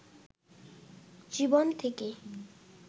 জীবন থেকে